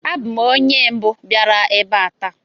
Abụ m onye mbụ biara ebe a taa